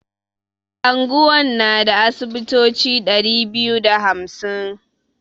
Anguwan na da asibitoci ɗari biyu da hamsin.